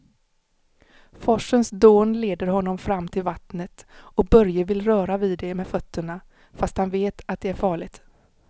Forsens dån leder honom fram till vattnet och Börje vill röra vid det med fötterna, fast han vet att det är farligt.